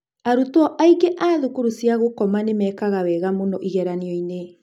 Arutwo aingĩ a thukuru cia gũkoma nĩ mekaga wega mũno igeranio-inĩ.